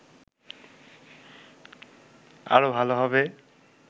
আরো ভালো হবে